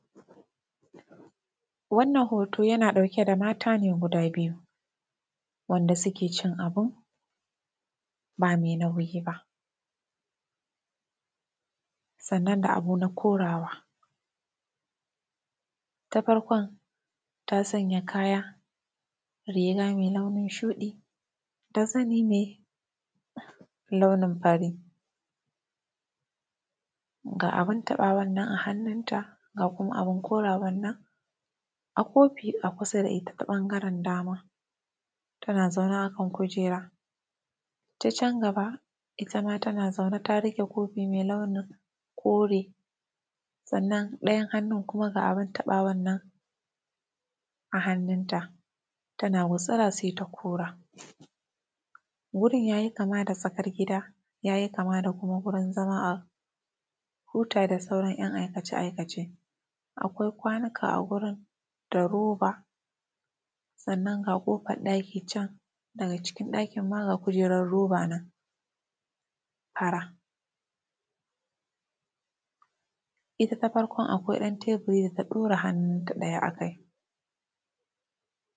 Wannan hooto yana ɗauke ne da maata ne guda biyu wanda suke cin abu baa mai nauyi ba sannan da abu na korawa. Ta farkon ta sanya kaya riga mai launin shuɗi da zani mai launin farii, ga abin taɓawan nan a hannun ta, ga kuma abin koraawan nan a kofi a kusa da ita ta ɓangaren dama tana zaune akan kujeera. Ta can gaba ita ma tana zaune ta riƙe kofin mai launin kore sannan ɗayan hannun kuma ga abin taɓawan nan a hannunta tana gutsira sai ta kora. Wurin yayi kama da tsakar gida yayi kama da kuma wurin zama a huta da sauran 'yan aikace-aikace, akwai kwanuka a wurin da roba sannan ga ƙofar ɗaki can, daga cikin ɗakin ma ga kujeerar roba nan ara. Ita ta farkon akwai ɗan teburi da ta ɗaura hannunta ɗaya akai.